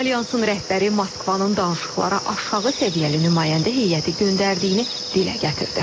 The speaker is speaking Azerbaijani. Alyansın rəhbəri Moskvanın danışıqlara aşağı səviyyəli nümayəndə heyəti göndərdiyini dilə gətirdi.